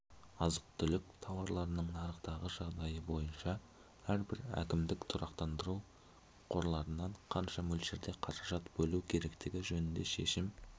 азық-түлік тауарларының нарықтағы жағдайы бойынша әрбір әкімдік тұрақтандыру қорларынан қанша мөлшерде қаражат бөлу керектігі жөнінде шешім